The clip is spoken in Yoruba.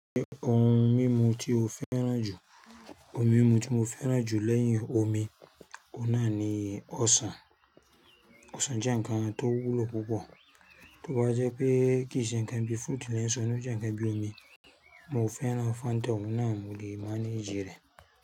Ṣé ohun mímu tí o fẹ́ràn jù? Ohun mímu tí mo fẹ́ràn jù lẹ́yìn omi òún nà ni ọsàn. Ọsàn jẹ́ ǹkan tó wúlò púpọ̀, tó ba jẹ́ pé kì í ṣe ǹkan bíi fruit lẹ́yìn so, ó jẹ́ ǹkan bíi omi. Mo fẹ́ràn Fanta ọ̀ún nà mo lé mangẹ rẹ̀.